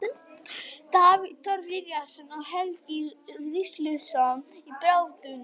Davíð Þór Viðarsson og Helgi SIgurðsson í baráttunni.